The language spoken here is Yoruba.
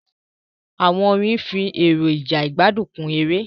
Àwọn orin nfi èrọja igbadun kun èrè.